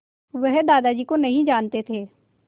वह दादाजी को नहीं जानते थे